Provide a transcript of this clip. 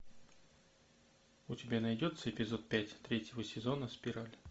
у тебя найдется эпизод пять третьего сезона спираль